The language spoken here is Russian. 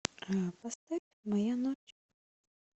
поставь моя ночь